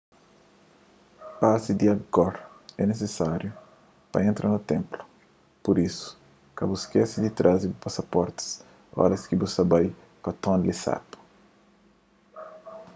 pasi di angkor é nisisáriu pa entra na ténplu pur isu ka bu skese di traze bu pasaporti óras ki bu ta bai pa tonle sap